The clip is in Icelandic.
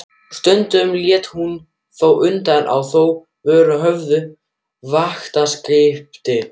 Stundum lét hann þó undan og þá voru höfð vaktaskipti.